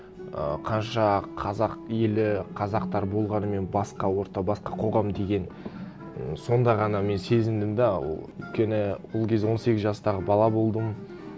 ы қанша қазақ елі қазақтар болғанымен басқа орта басқа қоғам деген і сонда ғана мен сезіндім де ы өйткені ол кез он сегіз жастағы бала болдым